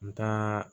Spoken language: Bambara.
N taara